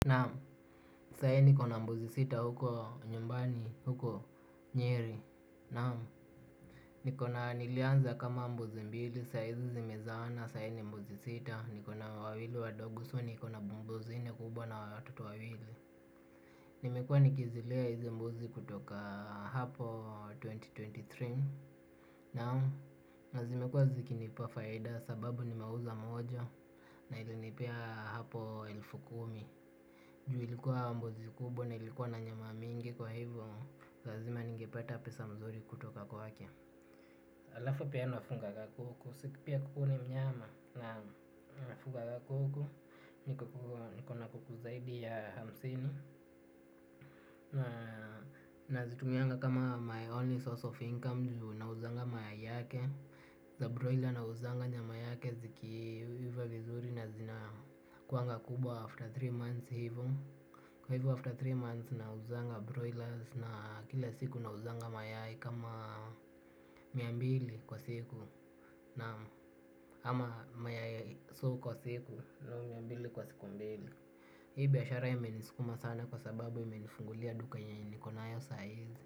Naam sai niko na mbuzi sita huko nyumbani huko nyeri naam. Niko na nilianza kama mbuzi mbili sai zimezaana sai ni mbuzi sita niko na wawili wadogo so niko na mbuzi nne kubwa na watoto wawili. Nimekuwa nikizilea hizi mbuzi kutoka hapo twenty twenty three. Naam na zimekuwa zikinipa faida sababu nimeuza moja na ilinipea hapo elfu kumi. Juu ilikuwa mbuzi kubwa na ilikuwa na nyama mingi kwa hivyo lazima ningepeta pesa mzuri kutoka kwake. Halafu pia nafuganga kuku. Si pia kuku ni mnyama na nafuganga kuku. Niko na kuku zaidi ya hamsini. Nazitumianga kama my only source of income. Juu nauzanga mayai yake. Za broila nauzanga nyama yake zikiiva vizuri. Na zinakuanga kubwa after three months hivo. Kwa hivyo after tatu months nauzanga broilers na kila siku nauzanga mayai kama mia mbili kwa siku naam ama mayai soo kwa siku so mia mbili kwa siku mbili. Hii biashara imeniskuma sana kwa sababu imenifungulia duka yenye niko nayo saa hizi.